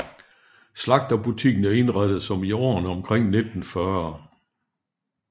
Slagterbutikken er indrettet som i årene omkring 1940